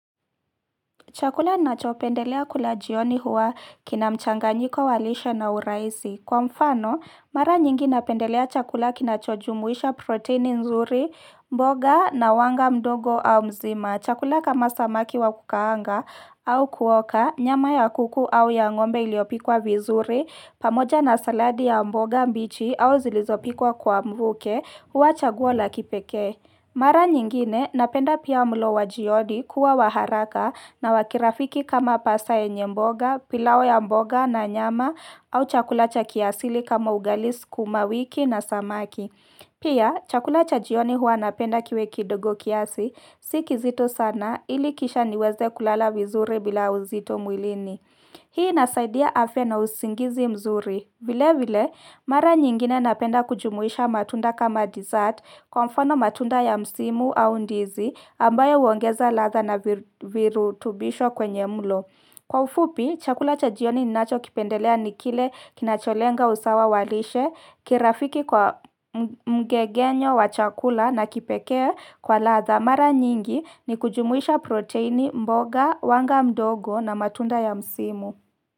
Chakula nacho pendelea kula jioni huwa kina mchanganyiko wa lishe na urahisi. Kwa mfano, mara nyingi napendelea chakula kinacho jumuisha protini nzuri, mboga na wanga mdogo au mzima. Chakula kama samaki wa kukaanga au kuoka, nyama ya kuku au ya ngombe iliyopikwa vizuri, pamoja na saladi ya mboga mbichi au zilizopikwa kwa mvuke huwa chaguo la kipekee. Mara nyingine napenda pia mlo wa jioni kuwa wa haraka na wa kirafiki kama pasa yenye mboga, pilau ya mboga na nyama au chakula cha kiasili kama ugali sukuma wiki na samaki. Pia, chakula cha jioni huwa napenda kiwe kidogo kiasi, si kizito sana ili kisha niweze kulala vizuri bila uzito mwilini. Hii inasaidia afya na usingizi mzuri. Vile vile, mara nyingine napenda kujumuisha matunda kama dessert kwa mfano matunda ya msimu au ndizi ambayo huongeza ladha na virutubisho kwenye mlo. Kwa ufupi, chakula cha jioni ninacho kipendelea ni kile kinacholenga usawa wa lishe, kirafiki kwa mgegenyo wa chakula na kipekee kwa ladha mara nyingi ni kujumuisha proteini mboga, wanga mdogo na matunda ya msimu.